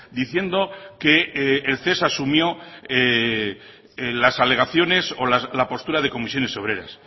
diciendo que el ces asumió las alegaciones o la postura de comisiones obreras